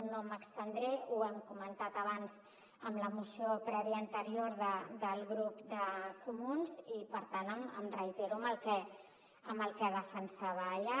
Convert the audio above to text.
no m’hi estendré ho hem comentat abans amb la moció prèvia anterior del grup de comuns i per tant em reitero en el que defensava allà